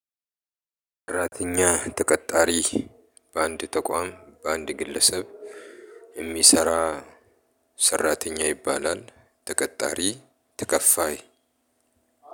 ሰራተኛ ተቀጣሪ በአንድ ተቋም በአንድ ግለሰብ የሚሰራ ሰራተኛ ይባላል። ተቀጣሪ ተከፋይ።